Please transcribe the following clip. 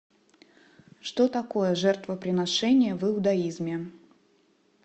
что такое жертвоприношения в иудаизме